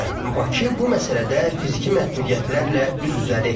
Bakı bu məsələdə fiziki məhdudiyyətlərlə üz-üzədir.